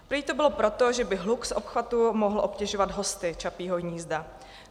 Prý to bylo proto, že by hluk z obchvatu mohl obtěžovat hosty Čapího hnízda.